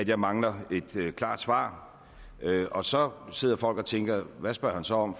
jeg mangler et klart svar og så sidder folk og tænker hvad spørger han så om